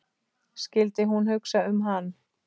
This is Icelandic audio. Skyldi hún hugsa um hann?